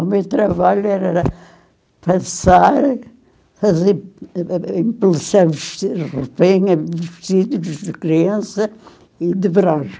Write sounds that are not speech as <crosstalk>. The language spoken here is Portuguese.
O meu trabalho era passar, fazer a impressão, <unintelligible> vestidos de criança e dobrar.